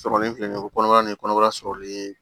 Sɔrɔli filɛ nin ye o kɔnɔbara ni kɔnɔbara sɔrɔli